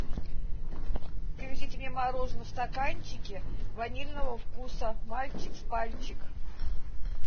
привезите мне мороженое в стаканчике ванильного вкуса мальчик с пальчик